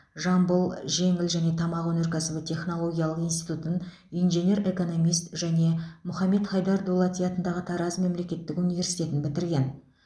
жамбыл жеңіл және тамақ өнеркәсібі технологиялық институтын инженер экономист және мұхаммед хайдар дулати атындағы тараз мемлекеттік университетін бітірген